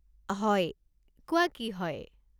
হয়, কোৱা কি হয়?